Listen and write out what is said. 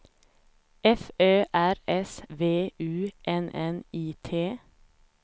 F Ö R S V U N N I T